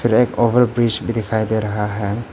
एक over bridge भी दिखाई दे रहा है।